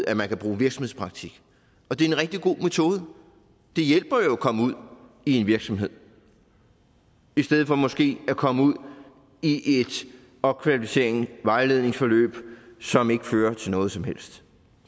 at man kan bruge virksomhedspraktik og det er en rigtig god metode det hjælper jo at komme ud i en virksomhed i stedet for måske at komme ud i et opkvalificerings vejledningsforløb som ikke fører til noget som helst